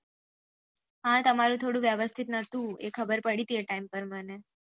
હા તમારે થોડું વિવાસ્તીતી નથુ એ ખબર પડી હતી એ ટીમ પર મને